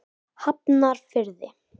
Hafnarfirði